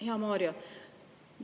Hea Mario!